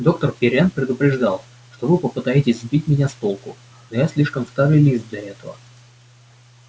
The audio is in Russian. доктор пиренн предупреждал что вы попытаетесь сбить меня с толку но я слишком старый лис для этого